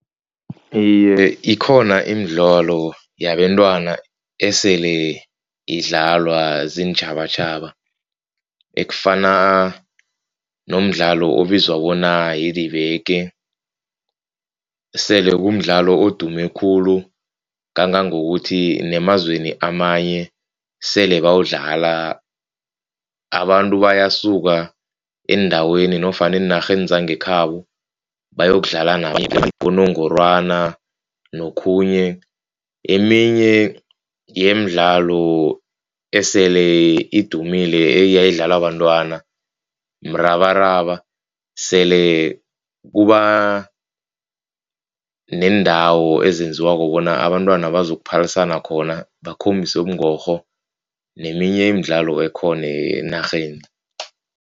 Iye, ikhona imidlalo yabentwana esele idlalwa ziintjhabatjhaba. Ekufana nomdlalo obizwa bona yidibeke sele kumdlalo odume khulu. Kangangokuthi nemazweni amanye sele bawudlala. Abantu bayasuka eendaweni nofana eenarheni zangekhabo bayokudlala unongorwana nokhunye. Eminye yeemdlalo esele idumile eyayidlalwa bantwana mrabaraba. Sele kuba neendawo ezenziwako bona abantwana bazokuphalisana khona bakhombise ubungorho neminye imidlalo ekhona enarheni.